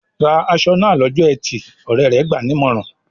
"Ra aṣọ náà lọ́jọ́ ẹtì!" Ọ̀rẹ́ rẹ̀ gbà á nímọ̀ràn.